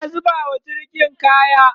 ana zubawa jirgin kaya